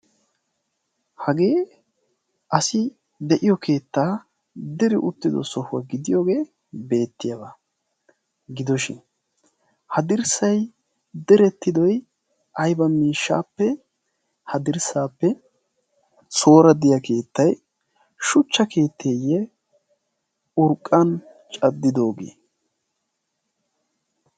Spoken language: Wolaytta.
hagee asi de'iyo keettaa deri uttido sohuwaa gidiyoogee beettiyaawaa gidoshin ha dirssai derettidi aiba miishshaappe ha dirssaappe soora diya keettai shuchcha keetteeyye urqqan caddidoogee?